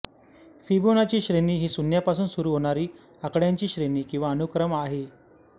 Fibonacci श्रेणी ही शून्यापासून सुरू होणारी आकड्यांची श्रेणी किंवा अनुक्रम आहे आहे